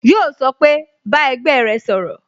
Yó sọ pé "Bá ẹgbẹ́ rẹ sọ̀rọ̀